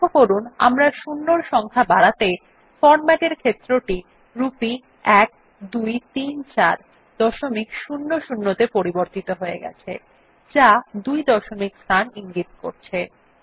লক্ষ্য করুন আমরা শূন্যর সংখ্যা বাড়াতে ফরম্যাট এর ক্ষেত্র টি রূপিস ১234 দশমিক শূন্য শূন্য ত়ে পরিবর্তিত হয়ে গেছে যা ২ দশমিক স্থান ইঙ্গিত করছে